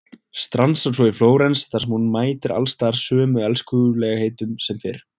Stansar svo í Flórens þar sem hún mætir alls staðar sömu elskulegheitunum sem fyrr.